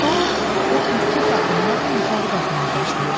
Sonra o ürkək addımlarla yuxarı qalxmağa başlayır.